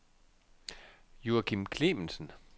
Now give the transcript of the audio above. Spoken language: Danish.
Joakim Clemensen